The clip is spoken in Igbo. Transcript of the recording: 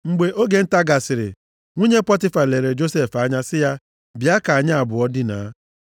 Mgbe oge nta gasịrị, nwunye Pọtifa lere Josef anya sị ya, “Bịa ka anyị abụọ dinaa.”